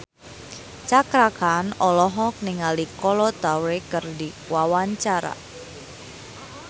Cakra Khan olohok ningali Kolo Taure keur diwawancara